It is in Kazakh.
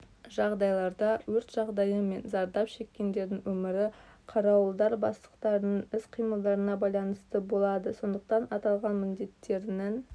жағдайларда өрт жағдайы мен зардап шеккендердің өмірі қарауылдар бастықтарының іс-қимылдарына байланысты болады сондықтан аталған міндеттерінің